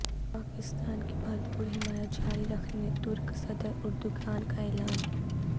پاکستان کی بھرپور حمایت جاری رکھنے ترک صدراردغان کا اعلان